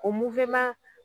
O muweman